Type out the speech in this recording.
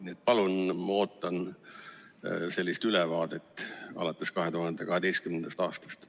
Nii et palun, ma ootan sellist ülevaadet alates 2012. aastast.